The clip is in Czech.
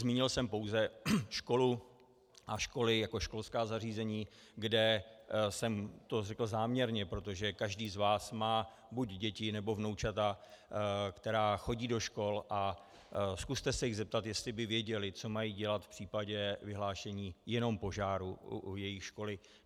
Zmínil jsem pouze školu a školy jako školská zařízení, kde jsem to řekl záměrně, protože každý z vás má buď děti, nebo vnoučata, která chodí do škol, a zkuste se jich zeptat, jestli by věděly, co mají dělat v případě vyhlášení jenom požáru jejich školy.